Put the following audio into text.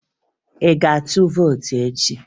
Ị ga-aga tụọ vootu echi?